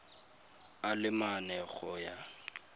a le mane go ya